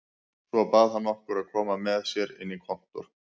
Svo bað hann okkur að koma með sér inn á kontór.